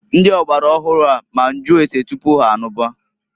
Ndi ọgbara ọhụụ a ma nju ase tupu ha anụba.